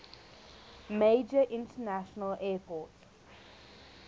major international airport